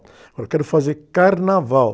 Agora, eu quero fazer carnaval.